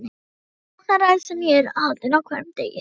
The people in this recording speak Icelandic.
Ofsóknaræðis sem ég er haldinn á hverjum degi.